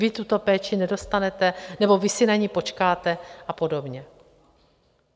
Vy tuto péči nedostanete, nebo vy si na ni počkáte a podobně.